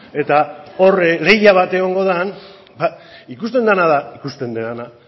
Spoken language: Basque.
eta hor leia bat egongo den ikuste dena da ikusten dena